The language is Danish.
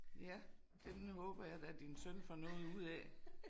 Ja den håber jeg da din søn får noget ud af